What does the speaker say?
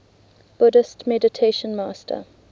buddhist meditation master